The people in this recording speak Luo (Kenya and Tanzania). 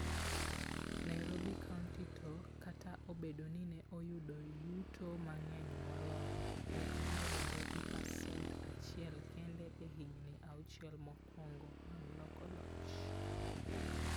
Nairobi County to, kata obedo ni ne oyudo yuto mang'eny moloyo, ne omedore gi pasent achiel kende e higini auchiel mokwongo mag loko loch.